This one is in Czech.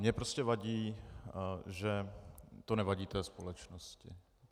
Mně prostě vadí, že to nevadí té společnosti.